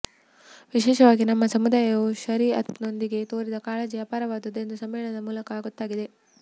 ವಿಶೇಷವಾಗಿ ನಮ್ಮ ಸಮುದಾಯವು ಶರೀಅತ್ ನೊಂದಿಗೆ ತೋರಿದ ಕಾಳಜಿ ಅಪಾರವಾದದ್ದು ಎಂದು ಸಮ್ಮೇಳನ ಮೂಲಕ ಗೊತ್ತಾಗಿದೆ